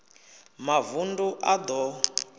mavund u a d o